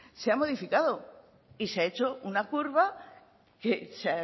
se ha modificado y se ha hecho una curva que se